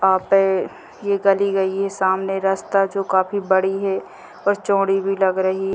यहाँ पे ये गली गई है सामने रास्ता जो काफी बड़ी है और चोड़ी भी लग रही --